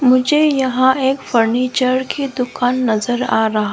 मुझे यहां एक फर्नीचर की दुकान नजर आ रहा--